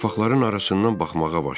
Yarpaqların arasından baxmağa başladım.